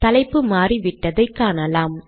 தலைப்பு மாறிவிட்டதை காணலாம்